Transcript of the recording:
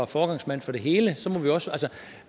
foregangsmand for det hele